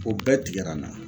O bɛɛ tigɛra n na